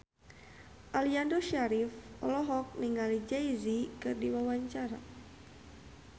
Aliando Syarif olohok ningali Jay Z keur diwawancara